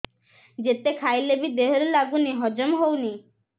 ଯେତେ ଖାଇଲେ ବି ଦେହରେ ଲାଗୁନି ହଜମ ହଉନି